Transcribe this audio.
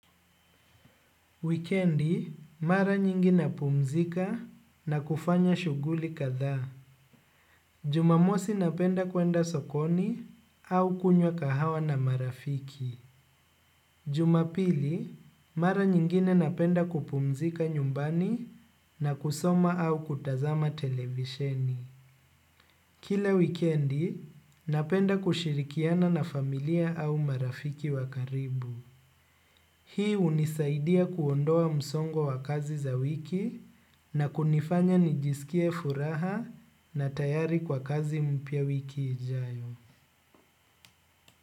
Wikendi, mara nyingi napumzika na kufanya shuguli katha. Jumamosi napenda kuenda sokoni au kunywa kahawa na marafiki. Jumapili, mara nyingine napenda kupumzika nyumbani na kusoma au kutazama televisheni. Kila wikendi, napenda kushirikiana na familia au marafiki wa karibu. Hii unisaidia kuondoa msongo wa kazi za wiki na kunifanya nijisikie furaha na tayari kwa kazi mpya wiki ijayo.